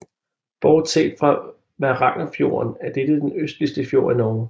Bortset fra Varangerfjorden er dette den østligste fjord i Norge